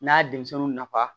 N'a ye denmisɛnninw nafa